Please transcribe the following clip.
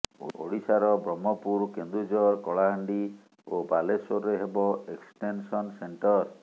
ଓଡ଼ିଶାର ବ୍ରହ୍ମପୁର କେନ୍ଦୁଝର କଳାହାଣ୍ଡି ଓ ବାଲେଶ୍ୱରରେ ହେବ ଏକ୍ସଟେନସନ୍ ସେଣ୍ଟର